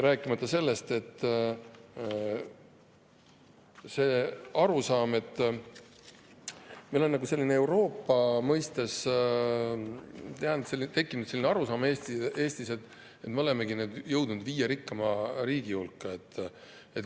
Rääkimata sellest, et meil on nagu tekkinud selline arusaam Eestis, et me olemegi nüüd jõudnud viie rikkaima Euroopa riigi hulka.